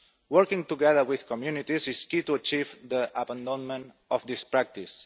Working together with communities is key to achieving the abandonment of this practice.